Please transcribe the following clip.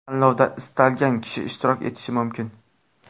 Tanlovda istalgan kishi ishtirok etishi mumkin.